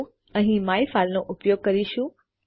તો આપણે અહીં માયફાઇલ નો ઉપયોગ કરીશું